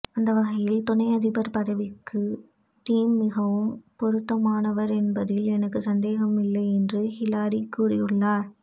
அந்த வகையில் துணை அதிபர் பதவிக்கு டிம் மிகவும் பொருத்த மானவர் என்பதில் எனக்கு சந்தேகமில்லை என்று ஹில்லரி கூறியுள்ளார்